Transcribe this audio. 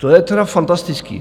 To je teda fantastické.